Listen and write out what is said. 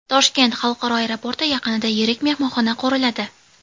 Toshkent xalqaro aeroporti yaqinida yirik mehmonxona quriladi.